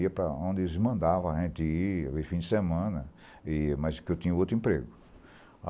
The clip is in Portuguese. Ia para onde eles mandavam a gente ir, haver fim de semana, e mas que eu tinha outro emprego.